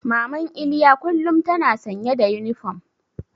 Maman Iliya kullum tana sanye da yunifom.